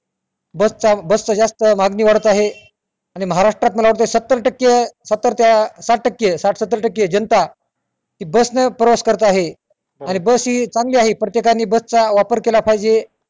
बस चा बस चा जास्त मागणी वाढत आहे आणि महारष्ट्रात मला वाटत सत्तर टक्के सत्तर ते साठ टक्के साठ सत्तर टक्के जनता बस ने प्रवास करत आहे बस हि चांगली आहे प्रत्येकाने बसचा वापर केला पाहिजे.